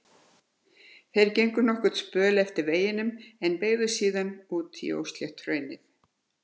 Þeir gengu nokkurn spöl eftir veginum en beygðu síðan út í óslétt hraunið.